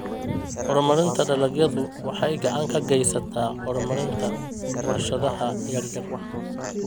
Horumarinta dalagyadu waxay gacan ka geysataa horumarinta warshadaha yaryar.